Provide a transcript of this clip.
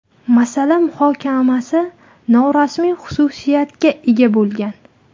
Masala muhokamasi norasmiy xususiyatga ega bo‘lgan.